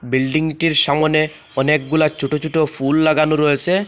বিল্ডিংটির সামনে অনেকগুলা ছোটো ছোটো ফুল লাগানো রয়েছে।